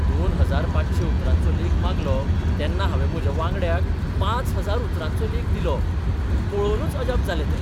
दोन हजार पांचशे उतरांचो लेख मागलो तेन्ना हांवें म्हज्या वांगड्याक पांच हजार उतरांचो लेख दिलो. पळोवनच अजाप जालें तें.